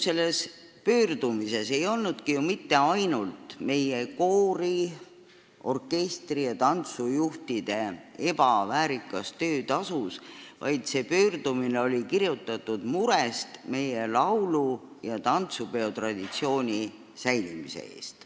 Selle pöördumise ainuke küsimus ei olnud meie koori-, orkestri- ja tantsujuhtide ebaväärikas töötasu, see pöördumine oli kirjutatud murest meie laulu- ja tantsupeo traditsiooni säilimise pärast.